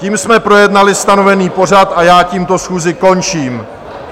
Tím jsme projednali stanovený pořad a já tímto schůzi končím.